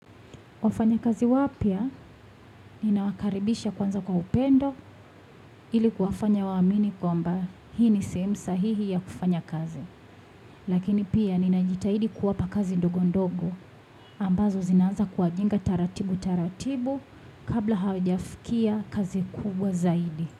Wafanya kazi wapya, ninawakaribisha kwanza kwa upendo ilikuwafanya wa amini kwamba, hii ni sehemu sahihi ya kufanya kazi. Lakini pia ninajitahidi kuwapa kazi ndogo ndogo ambazo zinanza kuwajenga taratibu taratibu kabla hawajafikia kazi kubwa zaidi.